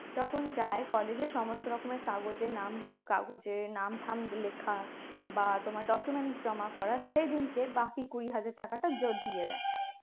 যখন যায় college এর সমস্ত রকমের কাগজের নাম কাগজে নাম থাম লেখা বা তোমার document জমা করার সেদিনকে বাকি কুড়ি হাজার টাকা টা দিয়ে রাখে